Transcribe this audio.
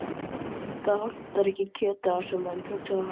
Það vantar ekki kjötið á þessa menn, hugsaði hann.